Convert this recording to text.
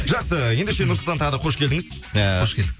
жақсы ендеше нұрсұлтан тағы да қош келдіңіз ыыы қош келдік